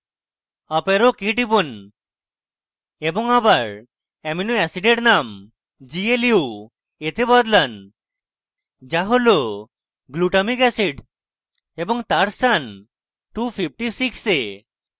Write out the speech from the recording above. up arrow key টিপুন এবং আবার এবং অ্যামাইনো অ্যাসিডের name glu তে বদলান যা হল glutamic অ্যাসিড এবং তার স্থান 256 এ